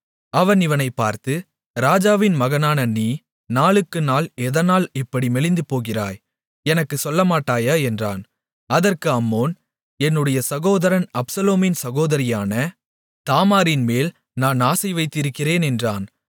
அவன் இவனைப் பார்த்து ராஜாவின் மகனான நீ நாளுக்குநாள் எதனால் இப்படி மெலிந்துபோகிறாய் எனக்குச் சொல்லமாட்டாயா என்றான் அதற்கு அம்னோன் என்னுடைய சகோதரன் அப்சலோமின் சகோதரியான தாமாரின்மேல் நான் ஆசை வைத்திருக்கிறேன் என்றான்